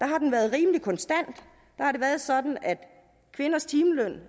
har den været rimelig konstant der har det været sådan at kvinders timeløn